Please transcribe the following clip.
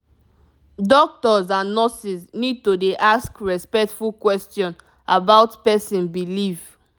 doctors and nurses need to dey ask respectful question about person belief.